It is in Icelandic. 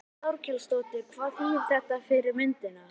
Þórhildur Þorkelsdóttir: Hvað þýðir þetta fyrir myndina?